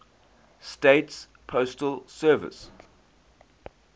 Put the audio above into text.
states postal service